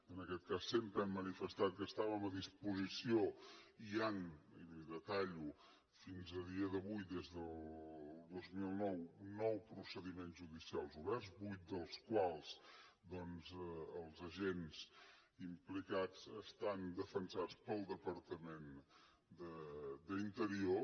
en aquest cas sempre hem manifestat que hi estàvem a disposició i hi han i li ho detallo fins al dia d’avui des del dos mil nou nou procediments judicials oberts en vuit dels quals doncs els agents implicats estan defensats pel departament d’interior